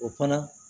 O fana